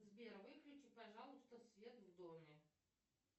сбер выключи пожалуйста свет в доме